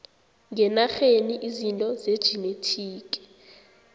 ngenarheni izinto zejinethiki